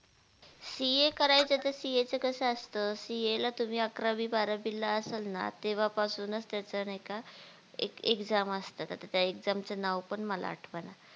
CA करायचं तर CA चं कसं असतं CA ला तुम्ही अकरावी बारावीला असाल ना तेव्हापासूनच त्याचं नाय का एक Exam असत आता त्या exam चं नाव पण मला आठवणा